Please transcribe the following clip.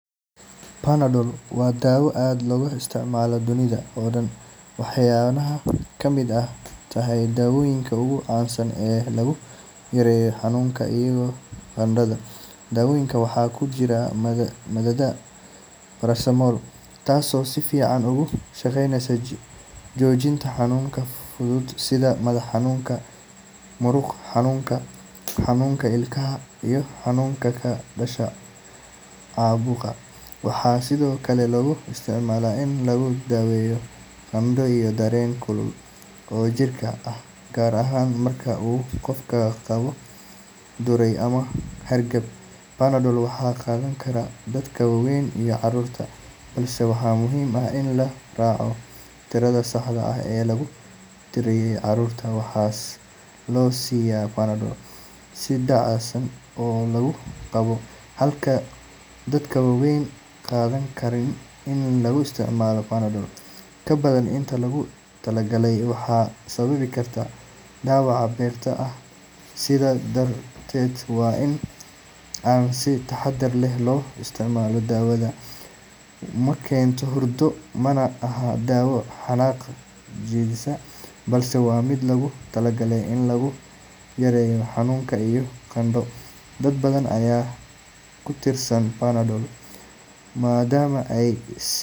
Panadol waa daawo aad looga isticmaalo dunida oo dhan, waxayna ka mid tahay daawooyinka ugu caansan ee lagu yareeyo xanuunka iyo qandhada. Daawadan waxaa ku jirta maaddada paracetamol, taasoo si fiican uga shaqeysa joojinta xanuunka fudud sida madax xanuunka, muruq xanuunka, xanuunka ilkaha, iyo xanuunka ka dhasha caabuqa. Waxaa sidoo kale lagu isticmaalaa in lagu daweeyo qandho iyo dareen kulul oo jirka ah, gaar ahaan marka uu qofka qabo duray ama hargab. Panadol waxaa qaadan kara dadka waaweyn iyo carruurta, balse waxaa muhiim ah in la raaco tirada saxda ah ee lagu taliyay. Carruurta waxaa la siiyaa Panadol si dheecaan ah oo lagu cabbo, halka dadka waaweyn ay qaataan kaniini. In la isticmaalo Panadol ka badan intii loogu talagalay waxay sababi kartaa dhaawac beerka ah, sidaa darteed waa in aan si taxaddar leh loo isticmaalo. Daawadani ma keento hurdo, mana aha daawo xanaaq dejisa, balse waa mid loogu talagalay in lagu yareeyo xanuun iyo qandho. Dad badan ayaa ku tiirsan Panadol maadaama ay si.